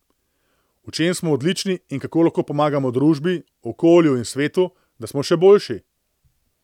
V čem smo odlični in kako lahko pomagamo družbi, okolju in svetu, da smo še boljši.